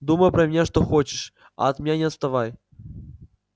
думай про меня что хочешь а от меня не отставай